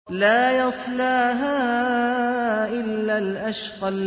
لَا يَصْلَاهَا إِلَّا الْأَشْقَى